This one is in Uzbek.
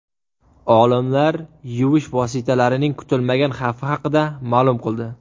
Olimlar yuvish vositalarining kutilmagan xavfi haqida ma’lum qildi.